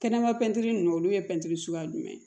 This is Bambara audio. Kɛnɛma pɛntiri ninnu olu ye pɛntiri suguya jumɛn ye